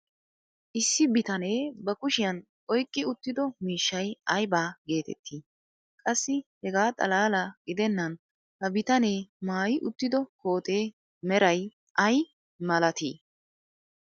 issi bitanee ba kushiyan oyqqi uttido miishshay ayba geetettii? qassi hegaa xalaala gidennan ha bitanee maayi uttido kootee meray ay malatii?